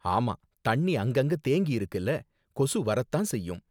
ஆமா தண்ணி அங்கங்க தேங்கியிருக்கில, கொசு வரத்தான் செய்யும்.